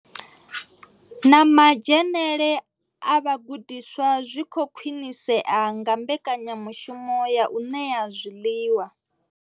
Na madzhenele a vhagudiswa zwi khou khwinisea nga mbekanyamushumo ya u ṋea zwiḽiwa.